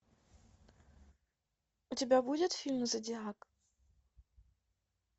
у тебя будет фильм зодиак